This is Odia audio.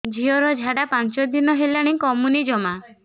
ଝିଅର ଝାଡା ପାଞ୍ଚ ଦିନ ହେଲାଣି କମୁନି ଜମା